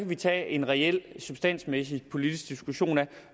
vi tage en reel substansmæssig politisk diskussion af